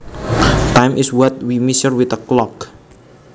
Time is what we measure with a clock